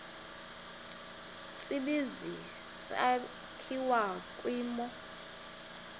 tsibizi sakhiwa kwimo